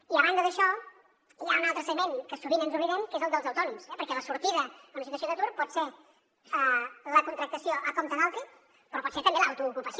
i a banda d’això hi ha un altre segment que sovint ens n’oblidem que és el dels autònoms eh perquè la sortida a una situació d’atur pot ser la contractació per compte d’altri però pot ser també l’autoocupació